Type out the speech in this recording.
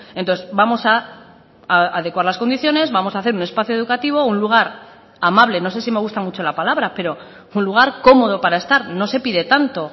entonces vamos a adecuar las condiciones vamos a hacer un espacio educativo un lugar amable no sé si me gusta mucho la palabra pero un lugar cómodo para estar no se pide tanto